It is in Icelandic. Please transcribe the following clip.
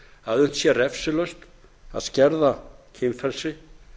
að unnt sé refsilaust að skerða kynfrelsi